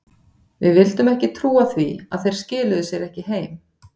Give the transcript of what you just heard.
Við vildum ekki trúa því að þeir skiluðu sér ekki heim.